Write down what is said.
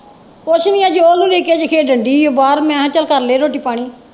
ਕੁੱਝ ਨਹੀਂ ਉਹ ਲੁੱਕਣ ਮਿਟੀ ਖੇਡਣ ਦੀ ਹੀ ਹੈ ਬਾਹਰ ਮੈਂ ਕਿਹਾ ਚੱਲ ਕਰਲੇ ਰੋਟੀ ਪਾਣੀ।